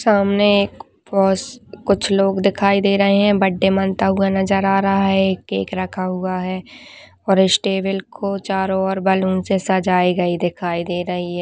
सामने एक फॉस कुछ लोग दिखाई दे रहे है बर्थडे मनता हुआ नजर आ रहा है एक केक रखा हुआ है और इस टेबल को चारों ओर बैलून से सजाये गए दिखाई दे रही हैं।